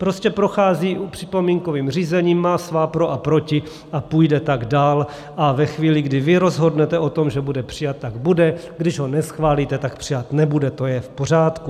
Prostě prochází připomínkovým řízením, má svá pro a proti a půjde tak dál a ve chvíli, kdy vy rozhodnete o tom, že bude přijat, tak bude, když ho neschválíte, tak přijat nebude, to je v pořádku.